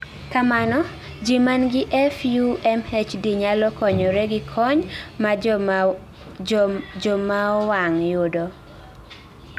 kamano ji manigi FUMHD nyalo konyore gi kony ma jomaowang' yudo